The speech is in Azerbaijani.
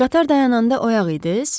Qatar dayananda oyaq idiniz?